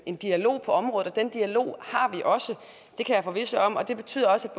en dialog på området og den dialog har vi også det kan jeg forvisse om og det betyder også